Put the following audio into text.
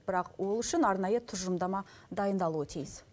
бірақ ол үшін арнайы тұжырымдама дайындалуы тиіс